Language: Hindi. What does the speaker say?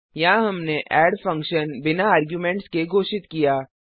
यहाँ हमने एड फंक्शन बिना आर्गुमेंट्स के घोषित किया